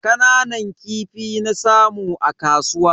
Kananan kifi na samu a kasuwa.